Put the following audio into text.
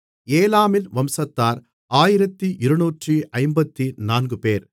ஏலாமின் வம்சத்தார் 1254 பேர்